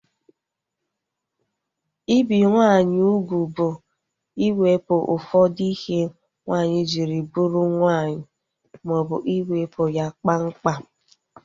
Ibi nwaanyị ugwu bụ iwepụ ụfọdụ ihe nwaanyị jiri bụrụ nwaanyị maọbụ iwepu ya kpam kpam